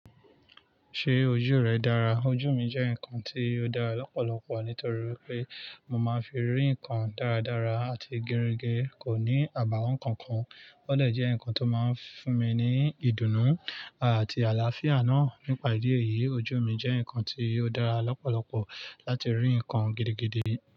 Ṣé ojú rẹ dára? Ojú mi jẹ́ nǹkan tí ó dára lọ́pọ̀lọpọ̀ nítorí pé mo máa ń fi rí ǹkan dáradára àti gẹrẹgẹ, kò ní àbàwọ́n kankan. Ó dè jẹ́ ǹkan tó máa ń fún mi ní ìdùnnú àti àlàáfíà náà. Nípa ìdí èyí, ojú mi jẹ́ ǹkan tí ó dára lọ́pọ̀lọpọ̀ láti rí ǹkan gidigidi.